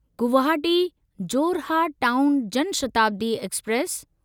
Guwahati Jorhat town Jan Shatabdi express